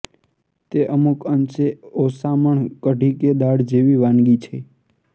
તે અમુક અંશે ઓસામણ કઢી કે દાળ જેવી વાનગી છે